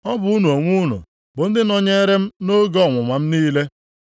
Ọ bụ unu onwe unu bụ ndị nọnyere m nʼoge ọnwụnwa m niile.